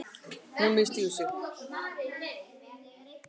Hún misstígur sig.